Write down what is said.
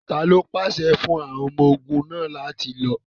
Talo pạsẹ fun àwọn ọmọ-ogun náa lati lo?